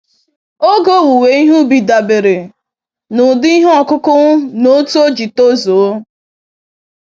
Oge owuwe ihe ubi dabere na ụdị ihe ọkụkụ na otu oji tozuo.